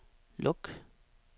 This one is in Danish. luk